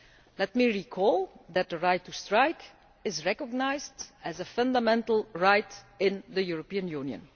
Let me remind you that the right to strike is recognised as a fundamental right in the European Union.